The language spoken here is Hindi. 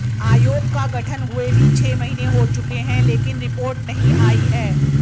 आयोग का गठन हुए भी छह महीने हो चुके हैं लेकिन रिपोर्ट नहीं आई है